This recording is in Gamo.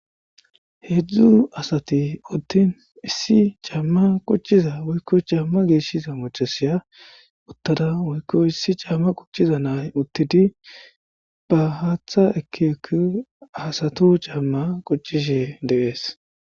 Hedzdzu asati uttin issi caamma quchchiza woykko caamma geeshshiza maccasiya uttada woykko issi caamma quchchiza na'ay uttidi ba haaththa ekki ekki asatu caamma quchchishe de'es.